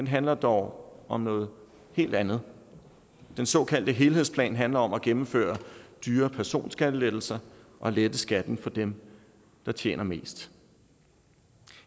handler dog om noget helt andet den såkaldte helhedsplan handler om at gennemføre dyre personskattelettelser og lette skatten for dem der tjener mest